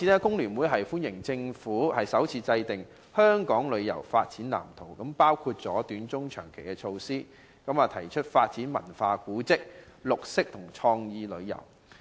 工聯會歡迎政府首次制訂"香港旅遊業發展藍圖"，涵蓋短、中、長期的措施，並提出發展文化、古蹟、綠色旅遊及創意旅遊。